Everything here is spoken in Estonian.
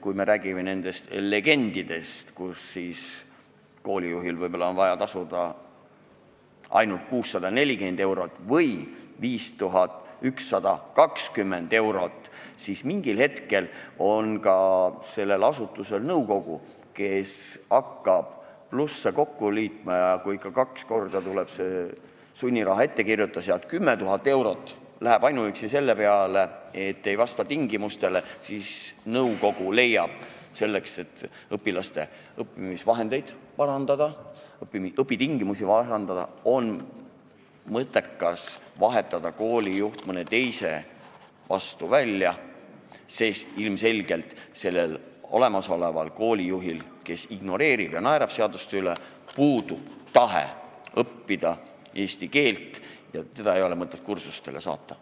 Kui me räägime legendidest, siis kui on vaja tasuda 640 euro asemel 5120 eurot, küllap siis mingil hetkel ka selle asutuse nõukogu, hakates plusse kokku liitma, näeb, et ikka kaks korda tuleb sunniraha ettekirjutus ja 10 000 eurot läheb ainuüksi selle peale, et inimene ei vasta tingimustele, ja leiab siis, et õpilaste õpitingimuste parandamiseks on mõttekas vahetada koolijuht mõne teise vastu välja, sest ilmselgelt sellel olemasoleval koolijuhil, kes ignoreerib seadusi ja naerab nende üle, puudub tahe õppida eesti keelt ja teda ei ole mõtet kursustele saata.